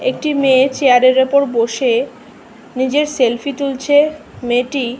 একটি মেয়ে চেয়ারের ওপর বসে-এ নিজের সেলফি তুলছে মেয়েটি--